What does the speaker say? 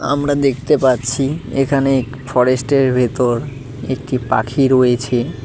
আমরা দেখতে পারছি এখানে ফরেস্টের ভেতর একটি পাখি রয়েছে।